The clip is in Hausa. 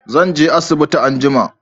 zan je asibiti anjima